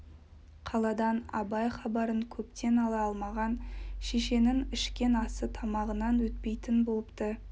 қаладан абай хабарын көптен ала алмаған шешенің ішкен асы тамағынан өтпейтін бопты